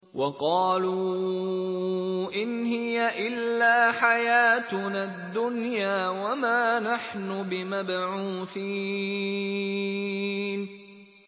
وَقَالُوا إِنْ هِيَ إِلَّا حَيَاتُنَا الدُّنْيَا وَمَا نَحْنُ بِمَبْعُوثِينَ